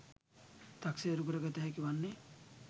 තක්සේරු කර ගත හැකි වන්නේ